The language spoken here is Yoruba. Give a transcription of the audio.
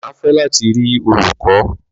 Má fẹ lati ri olukọ